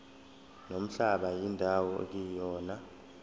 nomhlaba indawo ekuyona